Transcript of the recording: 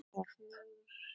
Hún verður að fá hjálp.